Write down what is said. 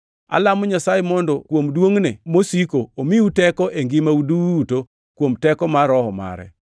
Alamo Nyasaye mondo kuom duongʼne mosiko omiu teko e ngimau duto kuom teko mar Roho mare,